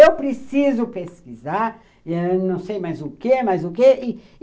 Eu preciso pesquisar ãh, não sei mais o quê, mas o quê.